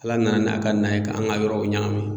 Ala nana n'a ka na ye ka an ga yɔrɔw ɲagami